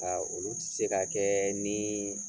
Ka olu tɛ se ka kɛ ni